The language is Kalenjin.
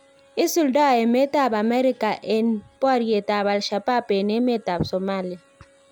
Isuldo emet ab America en boriet ab al_ Shabab en emet ab Somalia